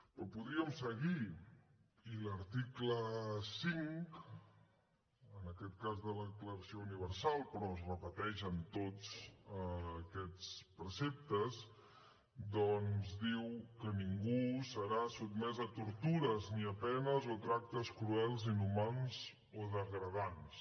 però podríem seguir i l’article cinc en aquest cas de la declaració universal però que es repeteix en tots aquests preceptes doncs diu que ningú serà sotmès a tortures ni a penes o tractes cruels inhumans o degradants